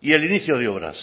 y el inicio de obras